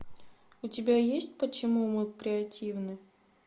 у тебя есть почему мы креативны